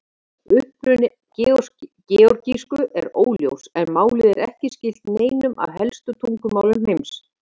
Uppruni georgísku er óljós en málið er ekki skylt neinum af helstu tungumálum heims.